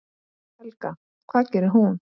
Helga: Hvað gerir hún?